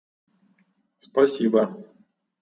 спасибо